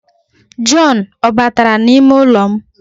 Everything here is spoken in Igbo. John o batara n'ime ụlọ m?